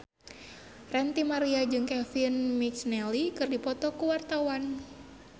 Ranty Maria jeung Kevin McNally keur dipoto ku wartawan